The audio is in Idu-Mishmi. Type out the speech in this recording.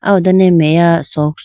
ah ho done meya socks .